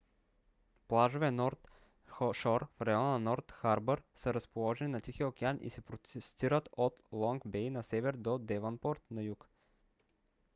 плажове норт шор в района норт харбър са разположени на тихия океан и се простират от лонг бей на север до девънпорт на юг